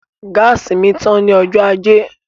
Gáàsì mi tán ní ọjọ́ ajé